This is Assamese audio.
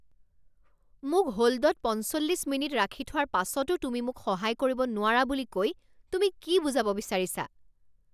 মোক হ'ল্ডত পঞ্চল্লিছ মিনিট ৰাখি থোৱাৰ পাছতো তুমি মোক সহায় কৰিব নোৱাৰা বুলি কৈ তুমি কি বুজাব বিচাৰিছা?